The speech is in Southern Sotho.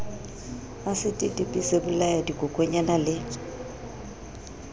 asiti dipi sebolaya dikokonyana le